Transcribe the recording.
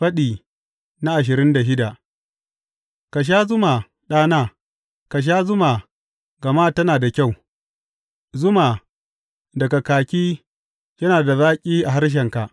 Faɗi ashirin da shida Ka sha zuma, ɗana, ka sha zuma gama tana da kyau; zuma daga kaki yana da zaƙi a harshenka.